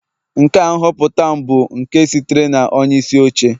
Nke a nhọpụta m bụ nke sitere na onyeisi oche